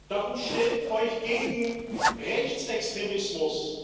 Darum stellt euch gegen Rechtsextremismus!